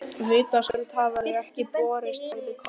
Vitaskuld hafa þau ekki borist, sagði Kort.